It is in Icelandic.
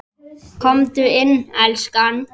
Komdu inn, elskan!